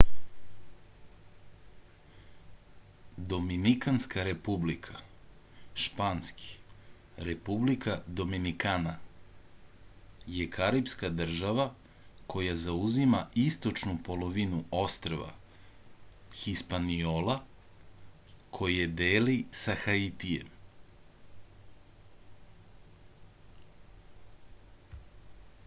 доминиканска република шпански: republica dominicana је карипска држава која заузима источну половину острва хиспаниола које дели са хаитијем